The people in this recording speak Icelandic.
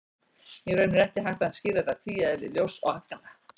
Í raun er ekki hægt að skýra þetta tvíeðli ljóss og agna.